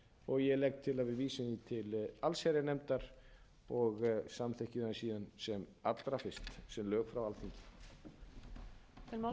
og ég legg til að við vísum því til allsherjarnefndar og samþykkjum það síðan sem allra fyrst sem lög frá alþingi